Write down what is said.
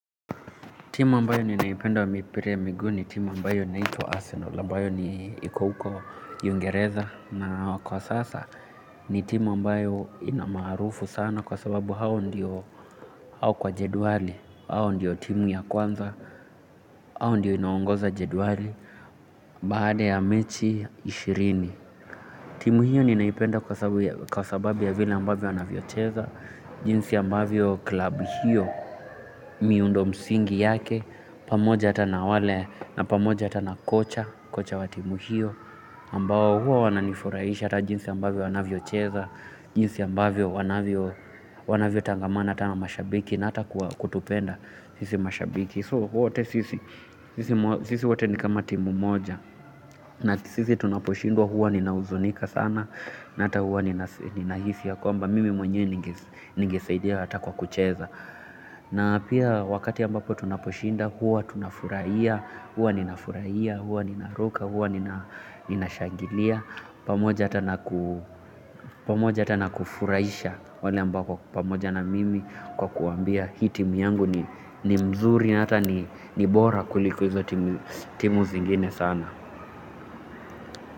Timu ambayo ninaipenda wa mipira ya miguu ni timu ambayo naitwa Arsenal ambayo ni iko huko ungereza na kwa sasa ni timu ambayo ina maarufu sana kwa sababu hao ndio au kwa jedwali, hao ndio timu ya kwanza hao ndio inaongoza jedwali baada ya mechi ishirini. Timu hiyo ninaipenda kwa sababu ya vile ambavyo wanavyocheza jinsi ambayo klabu hiyo miundo msingi yake pamoja hata na wale na pamoja hata na kocha kocha wa timu hio ambao huwa wananifurahisha ata jinsi ambavyo wanavyocheza jinsi ambavyo wanavyotangamana hata na mashabiki na ata kutupenda sisi mashabiki. So wote sisi sisi wote ni kama timu moja na sisi tunaposhindwa huwa ninahuzunika sana na ata huwa ninahisi ya kwamba mimi mwenye ningesaidia ata kwa kucheza na pia wakati ambapo tunaposhinda huwa tunafurahia, huwa ninafurahia, huwa ninaruka, huwa ninashangilia pamoja ata na pamoja ata na kufurahisha wale ambao wako pamoja na mimi kwa kuwaambia hii timu yangu ni mzuri na ata ni bora kuliko hizo timu zingine sana.